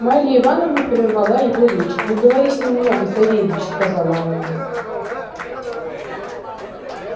марья ивановна перервала его речь не говори с ним много савельич сказала она